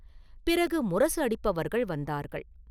பிறகு முரசு அடிப்பவர்கள் வந்தார்கள்.